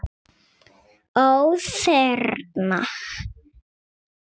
Ó: Þerna?